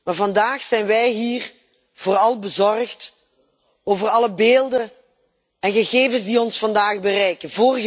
Maar vandaag zijn wij hier vooral bezorgd over alle beelden en gegevens die ons vandaag bereiken.